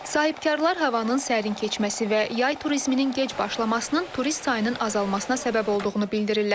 Sahibkarlar havanın sərin keçməsi və yay turizminin gec başlamasının turist sayının azalmasına səbəb olduğunu bildirirlər.